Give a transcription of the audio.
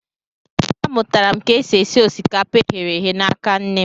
A mụtara m ka esi e si osikapa e ghere eghe n'aka nne m.